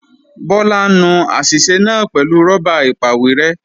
Bọ́lá ń nu àṣìṣe náà pẹ̀lú rọ́bà ìpàwérẹ́